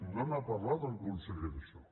no n’ha parlat el conseller d’això